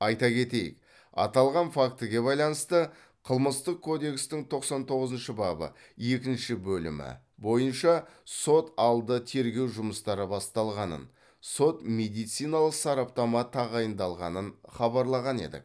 айта кетейік аталған фактіге байланысты қылмыстық кодекстің тоқсан тоғызыншы бабы екінші бөлімі бойынша сот алды тергеу жұмыстары басталғанын сот медициналық сараптама тағайындалғанын хабарлаған едік